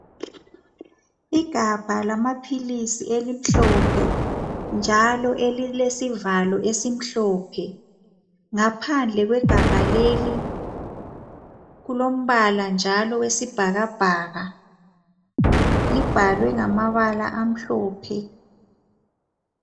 Igabha lamaphilisi elimhlophe njalo elilesivalo esimhlophe ngaphandle kwegabha leli kulombala njalo wesibhakabhaka libhalwe ngamabala amhlophe